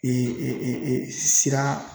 E e sira